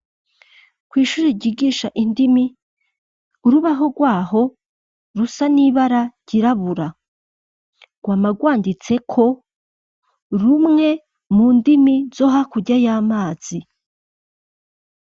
Kw'ishuri ryigisha indimi, urubaho rwa ho rusa n'ibara ryirabura. Rwama rwanditseko, rumwe mu ndimi zo hakurya y'amazi.